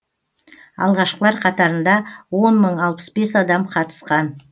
алғашқылар қатарында он мың алпыс бес адам қатысқан